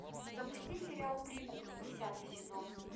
запусти сериал прикуп десятый сезон